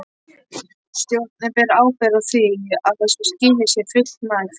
Stjórnin ber ábyrgð á því að þessu skilyrði sé fullnægt.